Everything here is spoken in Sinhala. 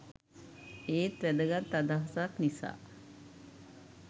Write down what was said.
ඒත් වැදගත් අදහසක් නිසා